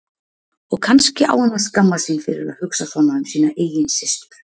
Og kannski á hann að skammast sín fyrir að hugsa svona um sína eigin systur.